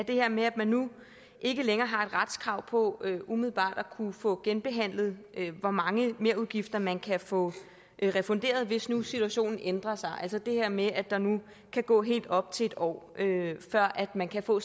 her med at man nu ikke længere har et retskrav på umiddelbart at kunne få genbehandlet hvor mange merudgifter man kan få refunderet hvis nu situationen ændrer sig altså det her med at der nu kan gå helt op til en år før man kan få